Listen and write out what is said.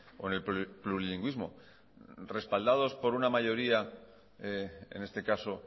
con el plurilingüismo respaldados por una mayoría en este caso